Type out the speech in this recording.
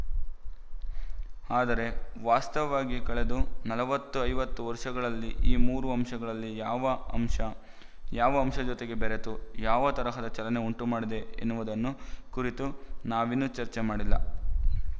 ಆದರೆ ವಾಸ್ತವವಾಗಿ ಕಳೆದು ನಲವತ್ತು ಐವತ್ತು ವರ್ಶಗಳಲ್ಲಿ ಈ ಮೂರು ಅಂಶಗಳಲ್ಲಿ ಯಾವ ಅಂಶ ಯಾವ ಅಂಶದ ಜೊತೆಗೆ ಬೆರೆತು ಯಾವ ತರಹದ ಚಲನೆ ಉಂಟು ಮಾಡಿದೆ ಎನ್ನುವುದನ್ನು ಕುರಿತು ನಾವಿನ್ನೂ ಚರ್ಚೆ ಮಾಡಿಲ್ಲ